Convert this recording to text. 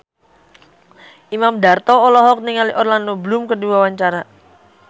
Imam Darto olohok ningali Orlando Bloom keur diwawancara